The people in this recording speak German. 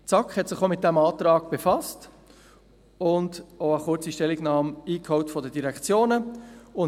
Die SAK hat sich auch mit diesem Antrag befasst und eine kurze Stellungnahme der Direktionen eingeholt.